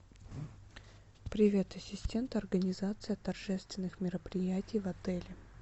привет ассистент организация торжественных мероприятий в отеле